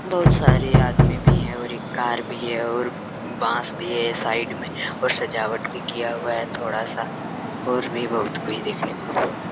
बहुत सारे आदमी भी है और एक कार भी है और बॉस भी है साइड में और सजवाट भी किया हुआ है थोड़ा सा और भी बोहुत कुछ देखने को--